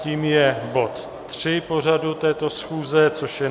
Tím je bod 3 pořadu této schůze, což je